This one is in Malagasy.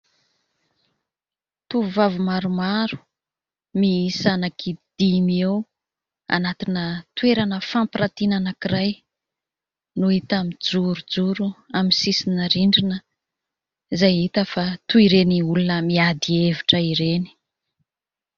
Tovovavy maromaro miisa anankidimy eo, anatina toerana fampiratiana anankiray, no hita mijorojoro amin'ny sisina rindrina izay hita fa toy ireny olona miady hevitra ireny.